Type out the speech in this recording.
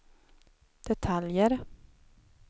detaljer